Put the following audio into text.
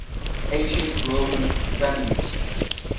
ancient roman families